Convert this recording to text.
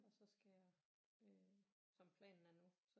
Så skal jeg øh som planen er nu